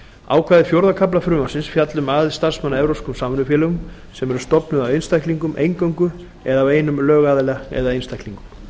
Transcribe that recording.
ákvæði fjórða kafla frumvarpsins fjalla um aðild starfsmanna að evrópskum samvinnufélögum sem eru stofnuð af einstaklingum eingöngu eða af einum lögaðila og einstaklingum